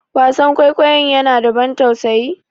Wasan kwaikwayonnya na da abun tausayi?